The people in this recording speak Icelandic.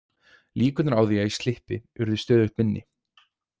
Líkurnar á því að ég slyppi urðu stöðugt minni.